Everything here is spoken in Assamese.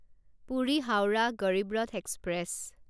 পুৰি হাউৰাহ গৰিব ৰথ এক্সপ্ৰেছ